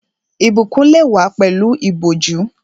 Ìbùkún lè wá pẹ̀lú ìbòjú